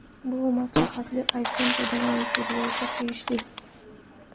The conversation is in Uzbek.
Bu maslahat iPhone foydalanuvchilariga tegishli.